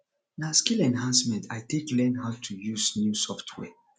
na skill enhancement i take learn how to use new software